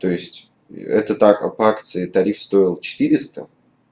то есть это так по акции тариф стоил четыресто